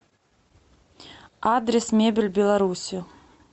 адрес мебель беларуси